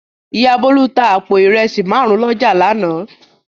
Ìyá Bólú tá àpò ìrẹsì márùn-ún lọ́jà lánàá.